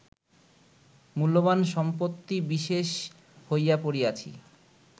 মূল্যবান সম্পত্তি বিশেষ হইয়া পড়িয়াছি